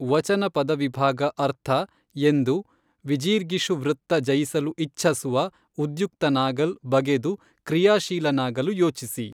ವಚನ ಪದವಿಭಾಗ ಅರ್ಥ ಎಂದು ವಿಜಿರ್ಗೀಷುವೃತ್ತ ಜಯಿಸಲು ಇಚ್ಛಸುವ ಉದ್ಯುಕ್ತನಾಗಲ್ ಬಗೆದು ಕ್ರಿಯಾಶೀಲನಾಗಲು ಯೋಚಿಸಿ